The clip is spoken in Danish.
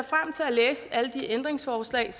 læse alle de ændringsforslag